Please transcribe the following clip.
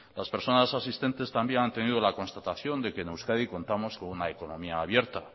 las personas asistentes también han tenido la constatación de que en euskadi contamos con una economía abierta